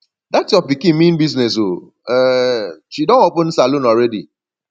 dat your pikin mean business ooo um she don open salon already